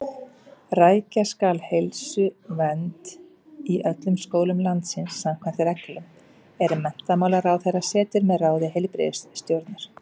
Rækja skal heilsuvernd í öllum skólum landsins samkvæmt reglum, er menntamálaráðherra setur með ráði heilbrigðisstjórnar.